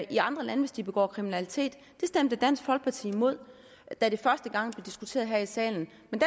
i andre lande hvis de begår kriminalitet det stemte dansk folkeparti imod da det første gang blev diskuteret her i salen men